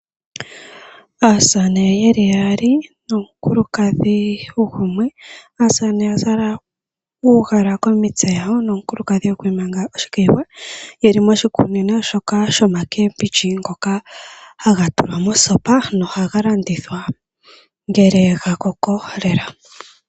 Aasamane ye li yaali nomukulukadhi gumwe. Aasamane oya zala uugala komitse dhawo ,nomukulukadhi okwiimanga oshikayiwa ye li moshikunino shoka shoomboga ndhoka hadhi tulwa mosopa nohadhi landithwa nge dha koko lela.